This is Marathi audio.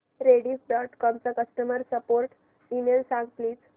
रेडिफ डॉट कॉम चा कस्टमर सपोर्ट ईमेल सांग प्लीज